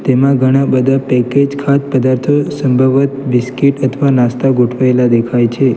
તેમાં ઘણા બધા પેકેજ ખાધ પદાર્થો સંભવત બિસ્કીટ અથવા નાસ્તા ગોઠવાયેલા દેખાય છે.